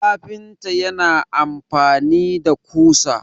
kafinta yana amfani da kusa